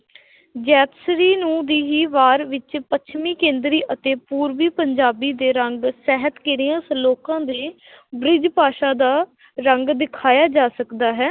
ਜੈਤਸਰੀ ਨੂੰ ਵੀਹੀ ਵਾਰ ਵਿੱਚ ਪੱਛਮੀ ਕੇਂਦਰੀ ਅਤੇ ਪੂਰਬੀ ਪੰਜਾਬੀ ਦੇ ਰੰਗ ਸਾਹਿਤ ਕਿਰਿਆ ਸ਼ਲੋਕਾਂ ਦੇ ਬ੍ਰਿਜ਼ ਭਾਸ਼ਾ ਦਾ ਰੰਗ ਦਿਖਾਇਆ ਜਾ ਸਕਦਾ ਹੈ।